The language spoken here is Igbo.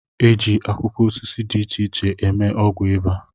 E ji akwụkwọ osisi di iche iche eme ọgwụ Ịba